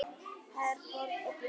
Herborg og Björn.